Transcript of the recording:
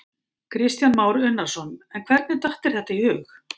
Kristján Már Unnarsson: En hvernig datt þér þetta í hug?